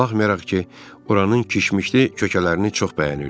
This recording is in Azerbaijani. Baxmayaraq ki, oranı kişmişli kökələrini çox bəyənirdi.